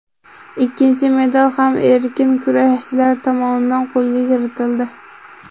Ikkinchi medal ham erkin kurashchilar tomonidan qo‘lga kiritildi.